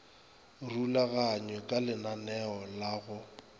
rulaganywe ka lenaneo la go